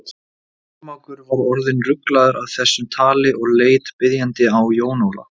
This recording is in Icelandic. Kormákur var orðinn ruglaður af þessu tali og leit biðjandi á Jón Ólaf.